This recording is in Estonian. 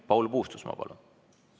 Paul Puustusmaa, palun!